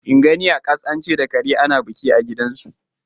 In gani a kas an ce da kare ana biki a gidanku.